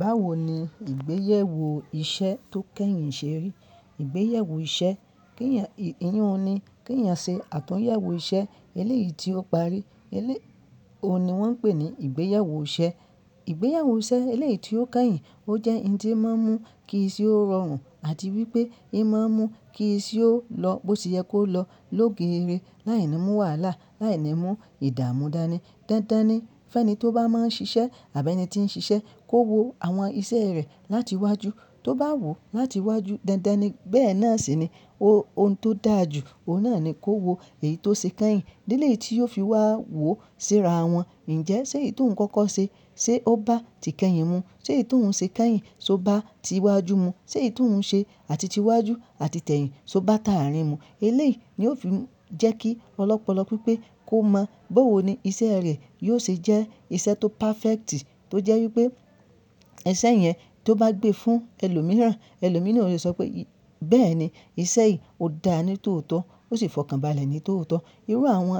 Báwo ni ìgbéyàwó iṣẹ́ tó kẹ́yìn ṣe rí? Ìgbéyewó iṣẹ́, iyi un ní, kí ẹ̀yan ṣe àtúnyẹ̀wò iṣẹ́ eléyìí tí ó parí, eléyìí òun ni wọ́n ń pè ní ìgbéyàwó iṣẹ́. Ìgbéyewó iṣẹ́ eléyìí tí ó kẹ́yìn, ó jẹ́ ohun tó máa ń mú kí ise ó rọrùn àti wípé imáa ń mú kí iṣẹ ó lọ bó ṣe yẹ kó lọ lóge rẹ, láì ni mú wàhálà, láì ni mú ìdààmú dànì. Dandan ni fẹ́nì tó bá máa ń ṣiṣẹ́ àbí ẹni tí ń ṣiṣẹ́ kó wo àwọn iṣẹ́ rẹ̀ láti wájù tó bá wò ọ́ láti wájù. Dandan ni bẹ́ẹ̀ náà sì ni ohun tó dà ju, òun náà ni kó wo èyí tó ṣe kẹ́yìn. Eléyìí tí yóò fi wá wò síra wọn. Ǹjẹ́ ṣé èyí tó ouń kọ́kọ́ ṣe, ṣe ó bá ti kẹ́yìn mu? Ṣé èyí tó ouń ṣe kẹ́yìn, ṣe ó bá ti iwájú mu? Ṣé èyí tó ouń ṣe àti ti iwájú àti tẹ̀yìn, ṣe ó bá tàárìn mu? Eléyìí ni ó fi ń jẹ́ kí ọ̀lopọ̀lọ pipẹ kó mọ bówò ní iṣẹ́ rẹ̀ yóò ṣe jẹ́ iṣẹ́ tó perfect ti tó jẹ́ wípé iṣẹ́ yẹn tó bá gbé fún ẹlòmíràn, ẹlòmíràn yóò sọ pé, bẹ́ẹ̀ni iṣẹ́ yìí ò dáa ni tòótọ́, ó sì fọkànbalẹ̀ ni tòótọ́. Irú àwọn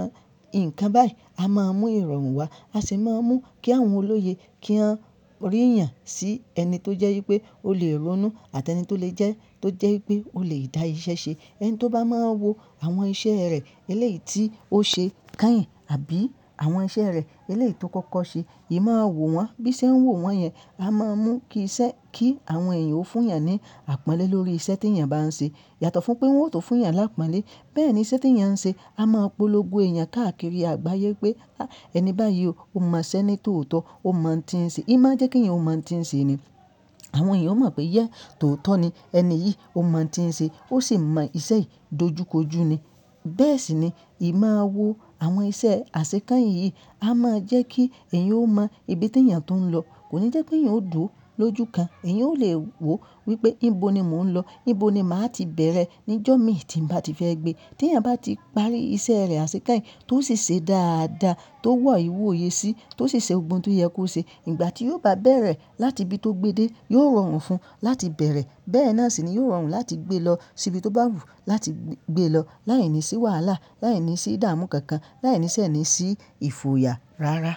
ǹkan báyìí a máa mú ìrọ̀rùn wá, a sì máa ń mú kí àwọn olóye kí wọ́n rì eyàn sí ẹni tó jẹ́ wípé ó lè ronú àti ẹni tó lè jẹ́ tó jẹ́ wípé ó lè dá iṣẹ́ ṣe. Ẹni tó bá máa ń wo àwọn iṣẹ́ rẹ̀ eléyìí tí ó ṣe kẹ́yìn àbí àwọn iṣẹ́ rẹ̀ eléyìí tó kọ́kọ́ ṣe, ima wò wọ́n bí se ń wò wọ́n yẹn. A máa ń mú kí iṣẹ́, kí àwọn èèyàn ó fún yàn ní àpọ́nlé lórí iṣẹ́ tí èèyàn bá ń ṣe. Yàtọ̀ fún pé wọn ò tó fún ìyàn lápọ́nlé. Bẹ́ẹ̀ ni iṣẹ́ tí èèyàn ń ṣe, a máa polòngó èèyàn káàkiri àgbáyé pé, ẹni báyìí ò mọ iṣẹ́ ni tòótọ́, ò mo ouń ti ń ṣe. Í máa ń jẹ́ kí èèyàn ò mo ouń ti ń ṣe ni. Àwọn èèyàn ó mọ̀ pé ye tòótọ́ ni ẹni yìí ò máa ń ti ń ṣe, ó sì mọ iṣẹ́ yìí dojúkojú ni. Bẹ́ẹ̀ sì ni, ì máa wo àwọn iṣẹ́ àṣekeyìn yìí, a máa ń jẹ́ kí èèyàn ó mọ ibi tí èèyàn tuń lọ. Kò ní jẹ́ pé èèyàn ó dùro lójú kan. Ẹ̀yàn ó lè wò wípé níbo ni mò ń lọ, níbo ni màá ti bẹ̀rẹ̀ níjọ́ mi tí ń bá ti fẹ́ gbé. Tí èèyàn bá ti parí iṣẹ́ rẹ̀ àṣekeyìn tó sì ṣe dáadáa, tó wọ arìwòye sí, tó sì ṣe gbogbo oun tó yẹ kó ṣe, ìgbà tí yóò bá bẹ̀rẹ̀ láti ibi tó gbe de, yóò rọrùn fún un láti bẹ̀rẹ̀. Bẹ́ẹ̀ náà sì ni yóò rọrùn láti gbé lọ sí ibi tó bá wù láti gbé lọ, láìní sì wàhálà, láìní sì ìdààmú kankan, láìní se nì sí ìfòyà rárá.